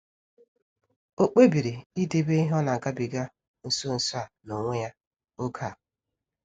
Ọ kpebiri idebe ihe o nagabiga nso nso a n'onwe ya oge a.